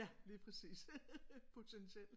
Ja lige præcis potentielt